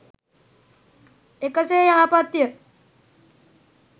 එකසේ යහපත් ය.